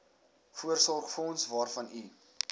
voorsorgsfonds waarvan u